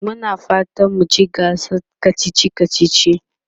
Muna fatan mu ci gasar kacici kacici.